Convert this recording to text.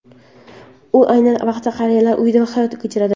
U ayni vaqtda qariyalar uyida hayot kechiradi.